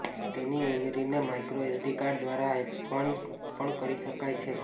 તેની મેમરીને micro SD card દ્વારા એક્સપાન્ડ પણ કરી શકાય છે